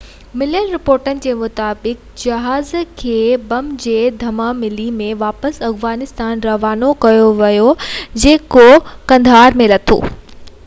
پوءِ مليل رپورٽن موجب جهاز کي بم جي ڌمڪي ملي ۽ واپس افغانستان روانو ڪيو ويو هو جيڪو قندهار ۾ لٿو